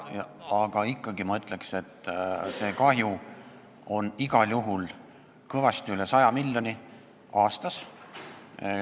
Aga ma ikkagi ütleks, et see kahju on igal juhul kõvasti üle 100 miljoni euro aastas.